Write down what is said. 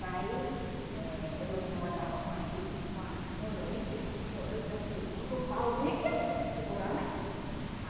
Daí eh eu molhava com a serin com a com o leite, com o leite da seringa, o pauzinho aqui assim, segurando aqui.